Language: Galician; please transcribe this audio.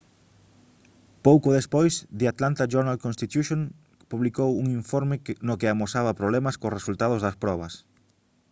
pouco despois the atlanta journal-constitution publicou un informe no que amosaba problemas cos resultados das probas